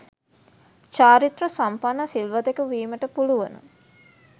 චාරිත්‍ර සම්පන්න සිල්වතෙකු වීමට පුළුවන.